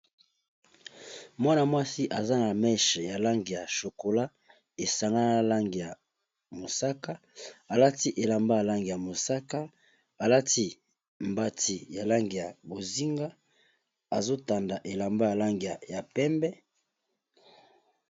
mwana mwasi aza na meshe ya lange ya chokola esangaya lange ya mosaka alati elamba yalange ya mosaka alati mbati ya lange ya bozinga azotanda elamba yalang y ya pembe